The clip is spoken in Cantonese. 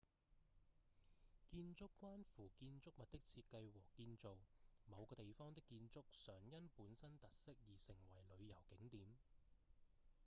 建築關乎建築物的設計和建造某個地方的建築常因本身特色而成為旅遊景點